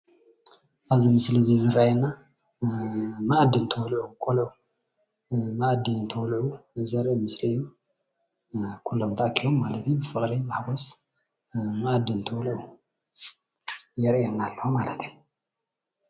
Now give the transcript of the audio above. ኣብዚ ምስሊ እዚ ዝረአየና ማኣዲ እንትበልዑ ቆልዑ ዘርኢ ምስሊ እዩ፡፡ ኩሎም ተኣኪቦም ማለት እዩ ብፍቅሪ ማአዲ እንትበልዑ የርእየና ኣሎ ማለት እዩ፡፡